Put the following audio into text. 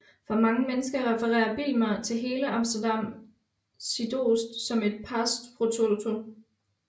For mange mennesker refererer Bijlmer til hele Amsterdam Zuidoost som et pars pro toto